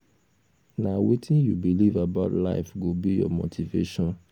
nah wetin you believe about life go be your motivation